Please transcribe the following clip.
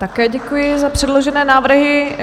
Také děkuji za předložené návrhy.